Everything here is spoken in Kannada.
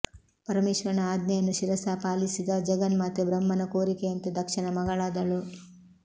ಪರಮೇಶ್ವರನ ಆಜ್ಞೆಯನ್ನು ಶಿರಸಾ ಪಾಲಿಸಿದ ಜಗನ್ಮಾತೆ ಬ್ರಹ್ಮನ ಕೋರಿಕೆಯಂತೆ ದಕ್ಷನ ಮಗಳಾದಳು